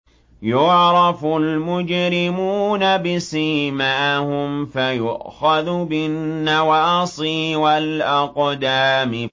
يُعْرَفُ الْمُجْرِمُونَ بِسِيمَاهُمْ فَيُؤْخَذُ بِالنَّوَاصِي وَالْأَقْدَامِ